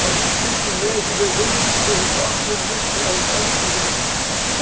Mas em comer, beber, não se preocupavam, porque no dia que chegavam em casa, eles tinham que levar.